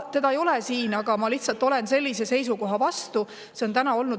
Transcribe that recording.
Teda ei ole siin, aga ma lihtsalt olen sellise seisukoha vastu.